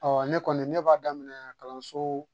Ɔ ne kɔni ne b'a daminɛ kalanso